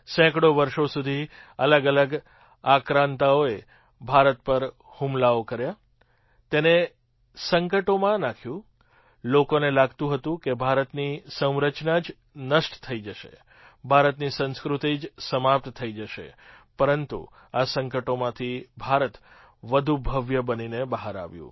સેંકડો વર્ષો સુધી અલગઅલગ આક્રાંતાઓએ ભારત પર હુમલાઓ કર્યા તેને સંકટોમાં નાખ્યું લોકોને લાગતું હતું કે ભારતની સંરચના જ નષ્ટ થઈ જશે ભારતની સંસ્કૃતિ જ સમાપ્ત થઈ જશે પરંતુ આ સંકટોમાંથી ભારત વધુ ભવ્ય થઈને બહાર આવ્યું